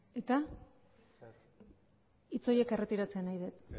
eta hitz horiek erretiratzea nahi dut